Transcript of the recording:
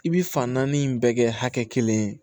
I bi fan naani in bɛɛ kɛ hakɛ kelen ye